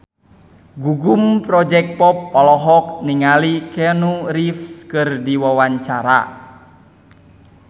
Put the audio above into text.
Gugum Project Pop olohok ningali Keanu Reeves keur diwawancara